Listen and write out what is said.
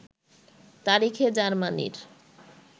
তারিখে জার্মানীর